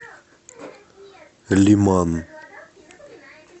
лиман